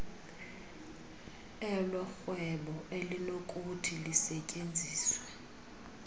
elorhwebo elinokuthi lisetyenziswe